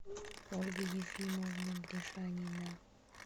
ольга ефимовна гришанина